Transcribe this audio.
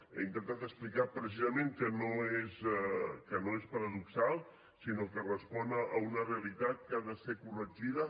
he intentat explicar precisament que no és paradoxal sinó que respon a una realitat que ha de ser corregida